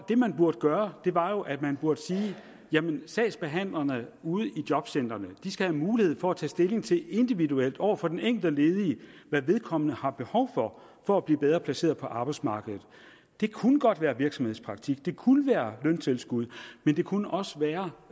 det man burde gøre var jo at man burde sige at sagsbehandlerne ude i jobcentrene skal have mulighed for at til tage stilling til individuelt over for den enkelte ledige hvad vedkommende har behov for for at blive bedre placeret på arbejdsmarkedet det kunne godt være virksomhedspraktik det kunne være løntilskud men det kunne også være